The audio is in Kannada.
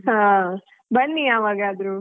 ಹಾ ಬನ್ನಿ ಯಾವಾಗಾದ್ರೂ.